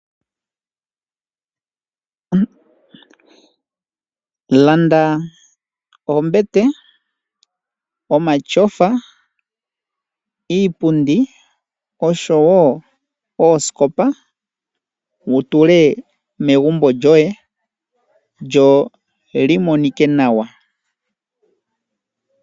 Landa ombete , omatyofa, iipundi oshowo Oskopa wutule megumbo lyoye lyo li monike nawa.